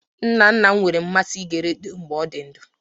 Nna nna m nwere mmasị ige redio mgbe ọ dị ndụ